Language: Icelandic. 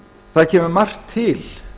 það kemur margt til